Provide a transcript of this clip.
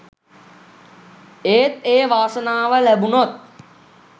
ඒත් ඒ වාසනාව ලැබුණොත්